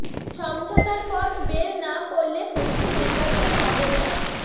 সমঝোতার পথ বের না করলে সুষ্ঠু নির্বাচন হবে না